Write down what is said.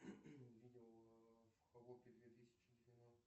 видео в две тысячи